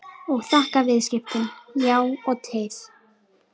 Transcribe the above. Og þakka viðskiptin, já og teið.